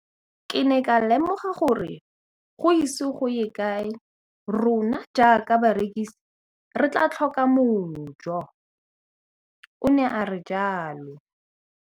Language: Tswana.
Ke ne ka lemoga gore go ise go ye kae rona jaaka barekise re tla tlhoka mojo, o ne a re jalo.